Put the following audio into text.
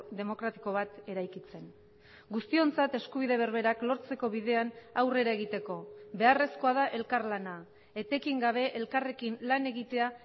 demokratiko bat eraikitzen guztiontzat eskubide berberak lortzeko bidean aurrera egiteko beharrezkoa da elkarlana etekin gabe elkarrekin lan egitea